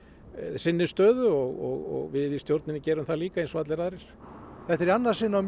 sinni stöðu og við í stjórninni gerum það líka eins og allir aðrir þetta er í annað sinn á